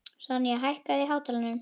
Sonja, hækkaðu í hátalaranum.